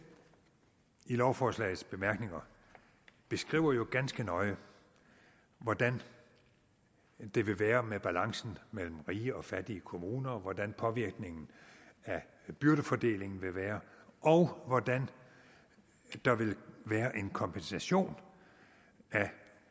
i lovforslagets bemærkninger beskriver jo ganske nøje hvordan det vil være med balancen mellem rige og fattige kommuner hvordan påvirkningen af byrdefordelingen vil være og hvordan der vil være en kompensation af